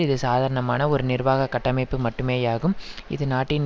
இது சாதாரணமான ஒரு நிர்வாக கட்டமைப்பு மட்டுமேயாகும் இது நாட்டின்